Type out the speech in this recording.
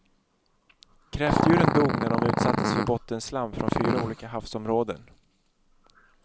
Kräftdjuren dog när de utsattes för bottenslam från fyra olika havsområden.